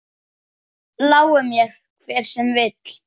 Lái mér, hver sem vill.